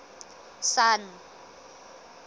sun